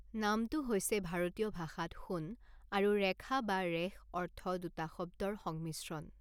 নামটো হৈছে ভাৰতীয় ভাষাত সোণ আৰু ৰেখা বা ৰেশ অৰ্থ দুটা শব্দৰ সংমিশ্ৰণ।